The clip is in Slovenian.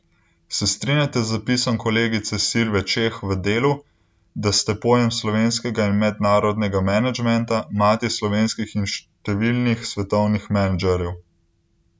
Se strinjate z zapisom kolegice Silve Čeh v Delu, da ste pojem slovenskega in mednarodnega menedžmenta, mati slovenskih in številnih svetovnih menedžerjev?